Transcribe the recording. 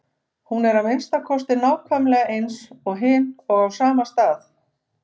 Hún er að minnsta kosti nákvæmlega eins og hin og á sama stað.